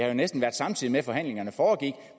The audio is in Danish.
jo næsten samtidig med at forhandlingerne foregik